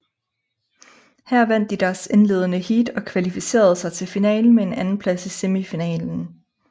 Her vandt de deres indledende heat og kvalificerede sig til finalen med en andenplads i semifinalen